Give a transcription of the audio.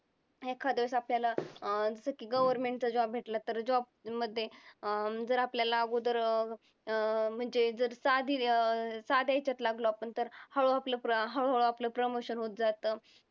एखाद्या वेळेस आपल्याला अं जसं की government चा job भेटला तर job मध्ये अं जर आपल्याला अगोदर अं म्हणजे जर साध्या हेच्यात लागलो आपण तर हळूहळू आपलं promotion होत जातं.